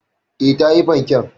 E, ta yi fanken.